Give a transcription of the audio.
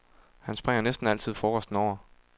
Han springer næsten altid frokosten over.